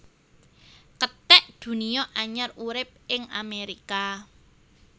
Kethek Dunia anyar urip ing Amerika